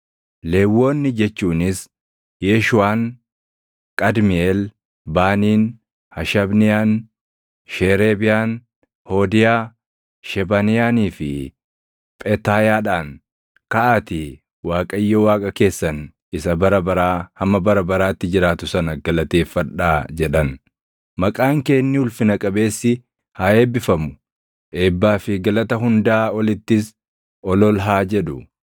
Lewwonni jechuunis Yeeshuuʼaan, Qadmiiʼeel, Baaniin, Hashabniyaan, Sheereebiyaan, Hoodiyaa, Shebaniyaanii fi Phetaayaadhaan, “Kaʼaatii Waaqayyo Waaqa keessan isa bara baraa hamma bara baraatti jiraatu sana galateeffadhaa” jedhan. “Maqaan kee inni ulfina qabeessi haa eebbifamu; eebbaa fi galata hundaa olittis ol ol haa jedhu.